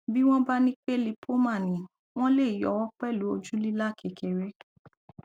bí wọn bá ní pé lipoma ni wọn lè yọ ọ pẹlú ojú lílà kékeré